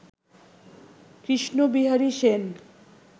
Krishnabihari Sen